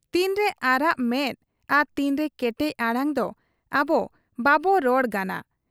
ᱛᱤᱱᱨᱮ ᱟᱨᱟᱜ ᱢᱮᱫ ᱟᱨ ᱛᱤᱱᱨᱮ ᱠᱮᱴᱮᱡ ᱟᱲᱟᱝ ᱫᱚ ᱟᱵᱚ ᱵᱟᱵᱚ ᱨᱚᱲ ᱜᱟᱱᱟ ᱾